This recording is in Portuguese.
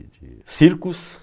de circos